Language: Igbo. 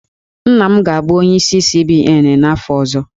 Nna m ga-abụ onyeisi CBN n'afọ ọzọ